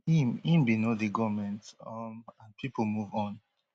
im im bin no dey goment um and pipo move on